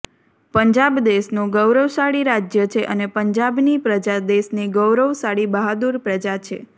પંજાબ દેશનું ગૌરવશાળી રાજ્ય છે અને પંજાબની પ્રજા દેશની ગૌરવશાળી બહાદૂર પ્રજા છે